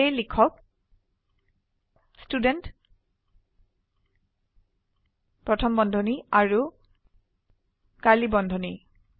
সেয়ে লিখক ষ্টুডেণ্ট প্ৰথম বন্ধনী আৰু কাৰ্ড়লী বন্ধনী